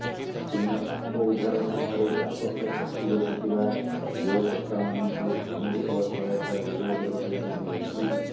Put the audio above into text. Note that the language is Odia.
ତେଣୁ ସାପ ଉଦ୍ଧାର ସମୟରେ ବ୍ୟାପକ କ୍ଷତି ଘଟୁଥିବା ଗୃହକର୍ତ୍ତାମାନଙ୍କୁ ଅନୁରୂପ ସହାୟତା ଯୋଗାଇ ଦେବାକୁ ଦାବି ହେଉଛି